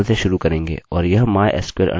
यह पहला फंक्शनfunction है जिसे आपको सीखने की ज़रूरत है